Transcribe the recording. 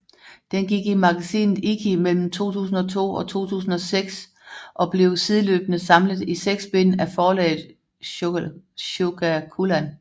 Den gik i magasinet Ikki mellem 2002 og 2006 og blev sideløbende samlet i seks bind af forlaget Shogakukan